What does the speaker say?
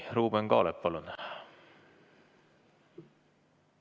Ruuben Kaalep, palun!